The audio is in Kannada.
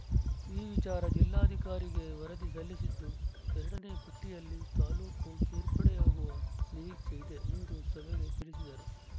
ಈ ವಿಚಾರ ಜಿಲ್ಲಾಧಿಕಾರಿಗೆ ವರದಿ ಸಲ್ಲಿಸಿದ್ದುಎರಡನೇ ಪಟ್ಟಿಯಲ್ಲಿ ತಾಲೂಕು ಸೇರ್ಪಡೆಯಾಗುವ ನಿರೀಕ್ಷೆ ಇದೆ ಎಂದು ಸಭೆಗೆ ತಿಳಿಸಿದರು